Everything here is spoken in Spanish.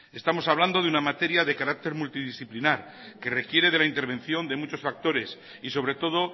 estamos hablando de una materia de carácter multidisciplinar que requiere de la intervención de muchos factores y sobre todo